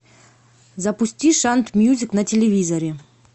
запусти шант мьюзик на телевизоре